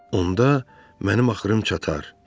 Onda mənim axırım çatar.